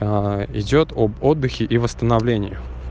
идёт об отдыхе и восстановлении